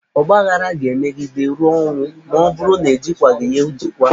Ọgbaaghara ga-emegide ruo ọnwụ ma ọ bụrụ na-ejikwaghị ya ejikwa.